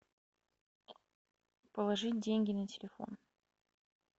положить деньги на телефон